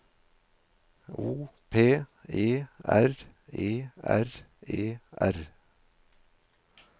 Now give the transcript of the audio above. O P E R E R E R